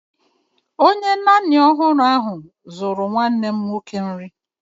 Onye nanny ọhụrụ ahụ zuru nwanne m nwoke nri